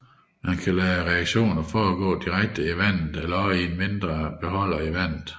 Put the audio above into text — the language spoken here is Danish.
Man kan lade reaktionen forgå direkte i vandet eller i en indre beholder i vandet